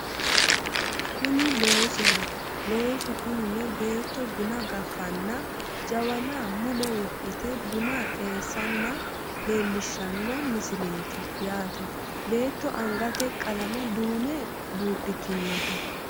Kuni loosoho loosu kunino beetto buna gaffanna jawana mule wodhite buna xeessanna leellishshanno misileeti yaate beetto angate qalame duume buudhitinote